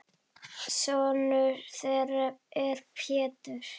Sonur þeirra er Pétur.